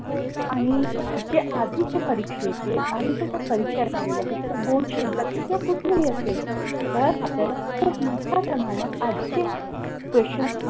आणि जे आधीचे परीक्षेचे आधीच्या ज्या परीक्षा झालेल्या आहेत त्या board ची exam किंवा कुठलेही असेल तर आपल्याला खूप मोठ्या प्रमाणात आधीचे question